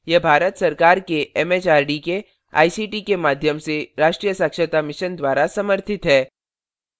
यह भारत सरकार के एमएचआरडी के आईसीटी के माध्यम से राष्ट्रीय साक्षरता mission द्वारा समर्थित है